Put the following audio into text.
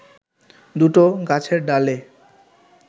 দুটো গাছের ডালে